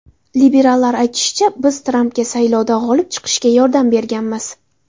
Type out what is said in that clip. Liberallar aytishicha, biz Trampga saylovda g‘olib chiqishga yordam berganmiz.